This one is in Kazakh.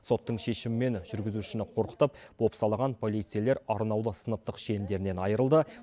соттың шешімімен жүргізушіні қорқытып бопсалаған полицейлер арнаулы сыныптық шендерінен айырылды